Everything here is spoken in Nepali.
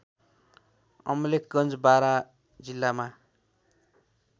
अमलेखगञ्ज बारा जिल्लामा